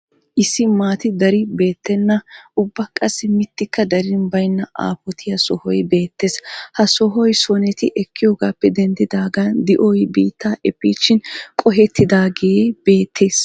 Issi maati dari beettenna ubba qassi mittikka darin baynna aafotiya sohoy beettees. Ha sohou soneti ekkiyogaappe denddidaagan di'oy biittaa efiichchin qohettidaagee beettes.